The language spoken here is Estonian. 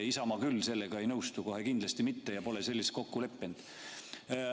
Isamaa küll sellega ei nõustu, kohe kindlasti mitte, ja me pole selles kokku leppinud.